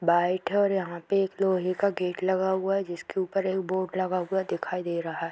bite है और यहाँ पे एक लोहे का गेट लगा हुआ है जिसके ऊपर एक बोर्ड लगा हुआ दिखाई दे रहा है |